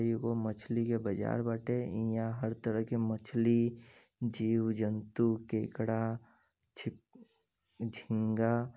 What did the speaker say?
ई एगो मछली के बाजार बाटे। इहां हर तरह के मछली जीव-जंतु केकड़ा छिप झिंगा --